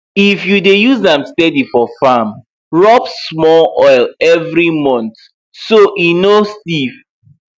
if you dey use am steady for farm rub small oil every month so e no stiff